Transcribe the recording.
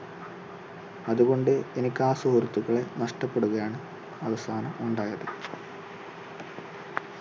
അതുകൊണ്ട് എനിക്ക് ആ സുഹൃത്തുക്കളെ നഷ്ട്ടപ്പെടുകയാണ് അവസാനം ഉണ്ടായത്.